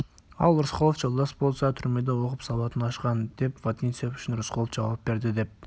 ал рысқұлов жолдас болса түрмеде оқып сауатын ашқан деп вотинцев үшін рысқұлов жауап берді деп